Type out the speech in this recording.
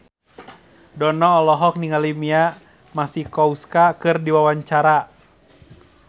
Dono olohok ningali Mia Masikowska keur diwawancara